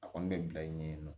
A kɔni bɛ bila yen nɔ